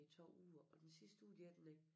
I 2 uger og den sidste uge de er dernede